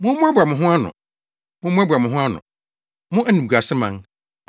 Mommoaboa mo ho ano, mommoaboa mo ho ano, mo, animguaseman,